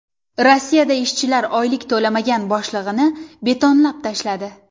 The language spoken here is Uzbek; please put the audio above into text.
Rossiyada ishchilar oylik to‘lamagan boshlig‘ini betonlab tashladi.